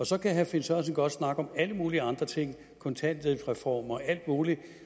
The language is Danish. så kan herre finn sørensen godt snakke om alle mulige andre ting kontanthjælpsreform og alt muligt